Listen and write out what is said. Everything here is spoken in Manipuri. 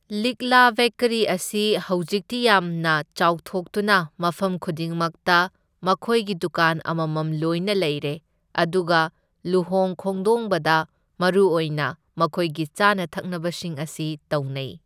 ꯂꯤꯛꯂꯥ ꯕꯦꯀꯔꯤ ꯑꯁꯤ ꯍꯧꯖꯤꯛꯇꯤ ꯌꯥꯝꯅ ꯆꯥꯎꯊꯣꯛꯇꯨꯅ ꯃꯐꯝ ꯈꯨꯗꯤꯡꯃꯛꯇ ꯃꯈꯣꯏꯒꯤ ꯗꯨꯀꯥꯟ ꯑꯃꯃꯝ ꯂꯣꯏꯅ ꯂꯩꯔꯦ, ꯑꯗꯨꯒ ꯂꯨꯍꯣꯡ ꯈꯣꯡꯗꯣꯡꯕꯗ ꯃꯔꯨꯑꯣꯏꯅ ꯃꯈꯣꯏꯒꯤ ꯆꯥꯅ ꯊꯛꯅꯕꯁꯤꯡ ꯑꯁꯤ ꯇꯧꯅꯩ꯫